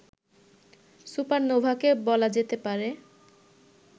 সুপারনোভাকে বলা যেতে পারে